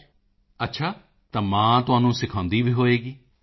ਮੋਦੀ ਜੀ ਅੱਛਾ ਤਾਂ ਮਾਂ ਤੁਹਾਨੂੰ ਸਿਖਾਉਂਦੀ ਵੀ ਹੋਵੇਗੀ